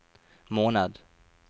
måned